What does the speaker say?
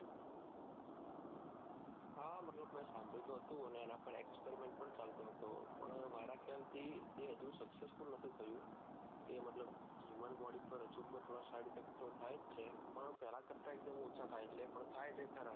હા મેં મતલબ સાભળ્યું તો હતું અને એના પર exprement પણ ચાલતો હતો પણ મારા ખ્યાલ થી હજુ successful નથી થયું એ મતલબ યુવાન body પર હજુ તો said effect તો થાયજ છે પણ પેલાં કરતા એકદમ ઓછા થાય છે પણ થાય છે ખરા